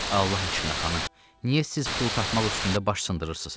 Allah eşqinə xanım, niyə siz pul tapmaq üstündə baş sındırırsınız?